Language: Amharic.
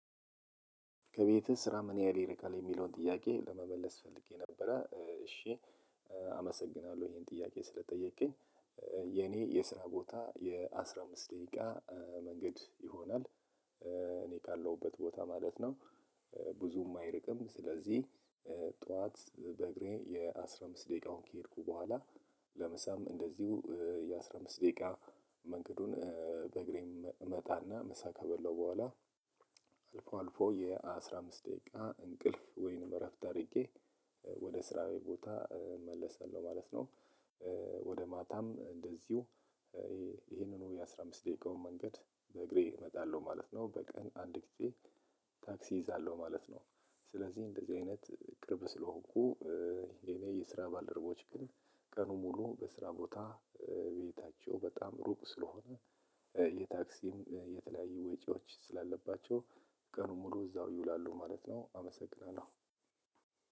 ከቤትህ ስራ ምን ያህል ይርቃል የሚለውን ጥያቄ ለመመለስ ፈልጌ ነበረ እሺ አመሰግናለሁ ይሄን ጥያቄ ስለ ጠየቅከኝ የኔ የስራ ቦታ የአስራ አምስት ደቂቃ መንገድ ይሆናል እኔ ካለሁበት ቦታ ማለት ነው ብዙም አይርቅም ስለዚህ ጠዋት በእግሬ የአስራ አምስት ደቂቃውን ከሄድኩ በኋላ ለምሳም እንደዚሁ የአስራ አምስት ደቂቃ መንገዱን በእግሬ እመጣና ምሳ ከበላው በኋላ አልፎ አልፎ የአስራ አምስት ደቂቃ እንቅልፍ ወይንም እረፍት አድርጌ ወደ ስራዬ ቦታ እመለሳለሁ ማለት ነው። ወደ ማታም እንደዚሁ ይሄንኑ የአስራ አምስት ደቂቃውን መንገድ በእግሬ እመጣለሁ ማለት ነ። በቀን አንድ ጊዜ ታክሲ እይዛለሁ ማለት ነው ስለዚህ እንደዚህ አይነት ቅርብ ስለሆንኩ የኔ የስራ ባልደረቦች ግን ቀኑ ሙሉ በስራ ቦታ ቤታቸው በጣም ሩቅ ስለሆነ የታክሲም የተለያየ ወጪዎች ስላለባቸው ቀኑን ሙሉ እዛው ይውላሉ ማለት ነው። አመሰግናለሁ።